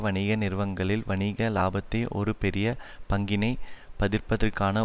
வணிக நிறுவங்களில் வணிக இலாபத்தில் ஒரு பெரிய பங்கினை பதிற்ப்பதற்கான